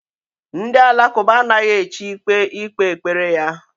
Ndị Alakụba anaghị echi ikpe ikpe kpere ya.